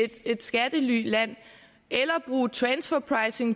et skattelyland eller